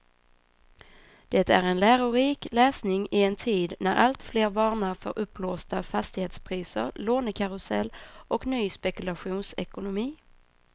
Det är en lärorik läsning i en tid när alltfler varnar för uppblåsta fastighetspriser, lånekarusell och ny spekulationsekonomi.